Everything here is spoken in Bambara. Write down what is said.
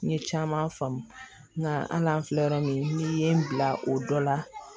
N ye caman faamu nga hali an filɛ yɔrɔ min n'i ye n bila o dɔ la